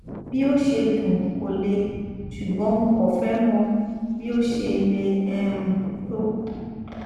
bí ó ṣe dún kò le ṣùgbọn mo kàn fẹ mọ bí ó ṣe le um tó